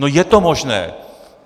No je to možné.